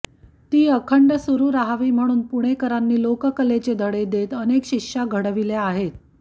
ती अखंड सुरू रहावी म्हणून पुणेकरांनी लोककलेचे धडे देत अनेक शिष्या घडविल्या आहेत